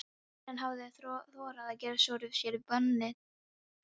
Meira en hann hafði þorað að gera sér vonir um.